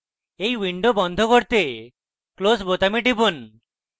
এই window বন্ধ করতে close বোতামে টিপুন